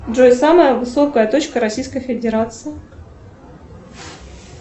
джой самая высокая точка российской федерации